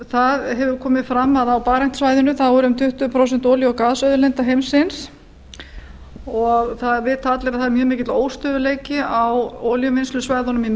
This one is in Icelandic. það hefur komið fram að á barentssvæðinu eru um tuttugu prósent olíu og gasauðlinda heimsins og það vita allir að það er mjög mikill óstöðugleiki á olíuvinnslusvæðunum í